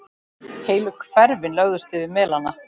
Heilu hverfin lögðust yfir melana.